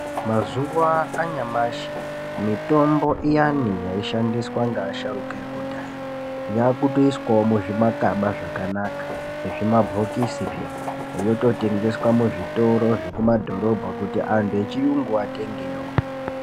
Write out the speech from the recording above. Mazuwa anyamashi mitombo iyani yaishandiswa ngeasharuka ekudhaya yaakutoiswawo muzvimakaba zvakanaka nezvimabhokisi peya yototengeswa muzvitoro zvekumadhorobha kuti anhu echiyungu atengewo.